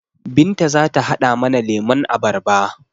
Binta zata haɗa mana lemon abarba